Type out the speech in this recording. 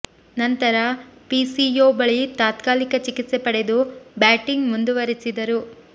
ನಂತರ ಫಿಸಿಯೊ ಬಳಿ ತಾತ್ಕಾಲಿಕ ಚಿಕಿತ್ಸೆ ಪಡೆದು ಬ್ಯಾಟಿಂಗ್ ಮುಂದುವರಿಸಿ ದರು